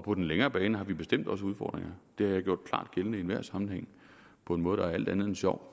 på den længere bane har vi bestemt også udfordringer det har jeg gjort klart gældende i enhver sammenhæng på en måde der er alt andet end sjov